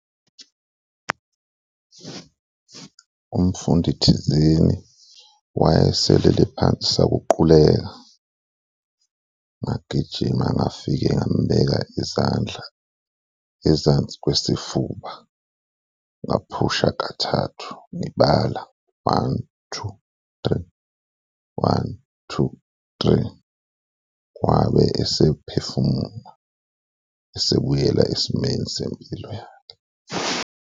Umfundi thizeni wayeselele phansi sakuquleka, ngagijima ngafike ngamubeka izandla ezansi kwesifuba, ngaphusha kathathu ngibala, one, two, three, one, two, three, wabe esephefumula, esebuyela esimeni sempilo yakhe.